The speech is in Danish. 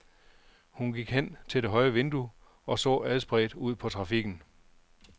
Hun gik hen til det høje vindue og så adspredt ud på trafikken.